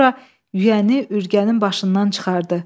Sonra yüyəni ürgənin başından çıxardı.